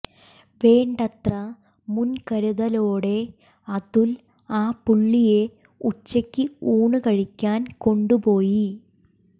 വേണ്ടത്ര മുൻകരുതലോടെ അതുൽ ആ പുള്ളിയെ ഉച്ചക്ക് ഊണ് കഴിക്കാൻ കൊണ്ടുപോയി